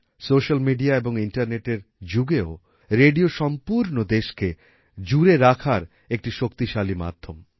social media এবং ইন্টারনেটের যুগেও রেডিও সম্পূর্ণ দেশকে জুড়ে করে রাখার একটি শক্তিশালী মাধ্যম